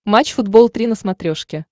матч футбол три на смотрешке